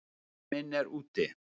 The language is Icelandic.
Tími minn er úti.